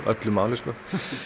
öllu máli sko